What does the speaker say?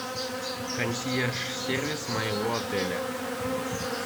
консьерж сервис моего отеля